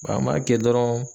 Wa an m'a kɛ dɔrɔɔn